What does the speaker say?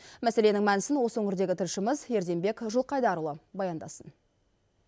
мәселенің мәнісін осы өңірдегі тілшіміз ерденбек жылқайдарұлы баяндасын